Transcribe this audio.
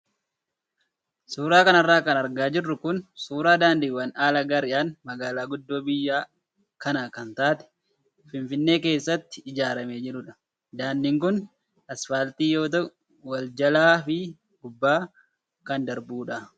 Suuraa kanarra kan argaa jirru kun suuraa daandiiwwan haala gaariidhaan magaalaa guddoo biyya kanaa kan taate finfinnee keessatti ijaaramee jirudha. Daandiin kun asfaaltii yoo ta'u, wal jalaa fi gubbaa kan darbudha.